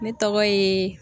Ne tɔgɔ ye